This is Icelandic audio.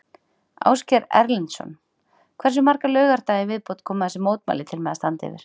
Ásgeir Erlendsson: Hversu marga laugardaga í viðbót koma þessi mótmæli til með að standa yfir?